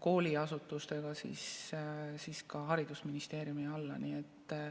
kooliasutustega, siis ka haridusministeeriumi alla.